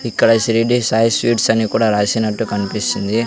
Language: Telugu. ఇక్కడ షిరిడి సాయి స్వీట్స్ అని కూడా రాసినట్టు కనిపిస్తుంది.